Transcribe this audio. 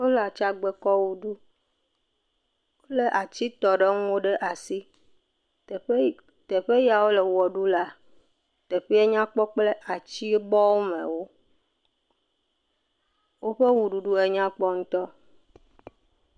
Wole atsgbekɔ ʋe ɖum. Wolé atsitɔɖeŋuwo ɖe asi. Teƒe yi, teƒe yaw ole wɔ ɖu lea, teƒea nya kpɔ kple atsibɔmewo. Woƒe wɔɖuɖu enya kpɔ ŋutɔ.